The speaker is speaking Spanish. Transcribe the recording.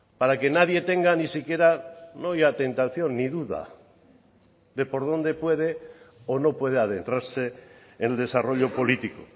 para que nadie tenga ni siquiera no ya tentación ni duda de por dónde puede o no puede adentrarse el desarrollo político